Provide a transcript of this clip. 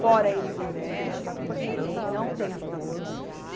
Fora eles, nós não vamos conversar com ninguém, não tem acordo.